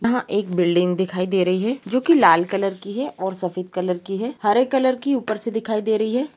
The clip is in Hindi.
यहा एक बिल्डिंग दिखाई दे रही है जो कि लाल कलर की है और सफेद कलर की है| हरे कलर की ऊपर से दिखाई दे रही है ।